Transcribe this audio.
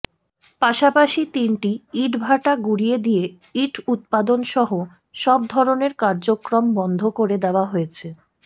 পাশাপাশি তিনটি ইটভাটা গুঁড়িয়ে দিয়ে ইট উৎপাদনসহ সব ধরণের কার্যক্রম বন্ধ করে দেওয়া হয়েছে